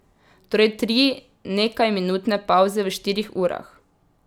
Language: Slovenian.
Torej tri nekajminutne pavze v štirih urah.